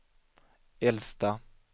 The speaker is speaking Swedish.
äldsta